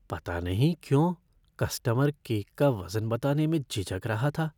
पता नहीं क्यों, कस्टमर केक का वज़न बताने में झिझक रहा था।